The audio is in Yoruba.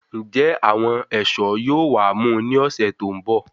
Njẹ àwọn ẹṣọ yóò wá mú ní ọsẹ tó n bọ